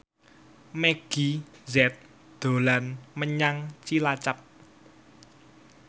Meggie Z dolan menyang Cilacap